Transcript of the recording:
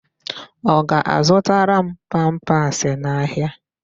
Ọ ga-azụtara m pampasị n'ahịa?